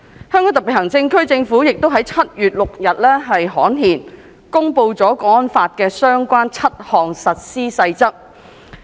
香港特別行政區政府亦於7月6日刊憲，公布了《港區國安法》的相關7項實施細則。